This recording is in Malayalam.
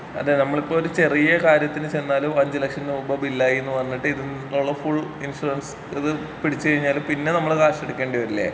അതേ നമ്മളിപ്പൊ ഒരു ചെറിയ കാര്യത്തിന് ചെന്നാലും അഞ്ച് ലക്ഷം രൂപ ബില്ലായീ ന്ന് പറഞ്ഞിട്ട് ഇതിൽ നിന്നുള്ള ഫുൾ ഇൻഷുറൻസ് ഇത് പിടിച്ചു കഴിഞ്ഞാല് പിന്നെ നമ്മളെ ക്യാഷ് എടുക്കേണ്ടി വരില്ലേ?